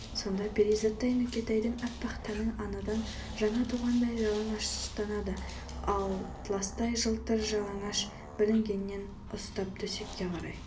сонда перизаттай нүкетайдың аппақ тәні анадан жаңа туғандай жалаңаштанады атластай жылтыр жалаңаш білегінен ұстап төсекке қарай